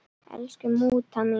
Elsku mútta mín.